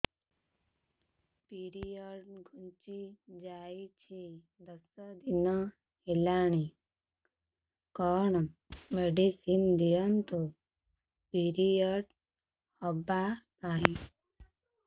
period ଘୁଞ୍ଚି ଯାଇଛି ଦଶ ଦିନ ହେଲାଣି କଅଣ ମେଡିସିନ ଦିଅନ୍ତୁ ପିରିଅଡ଼ ହଵା ପାଈଁ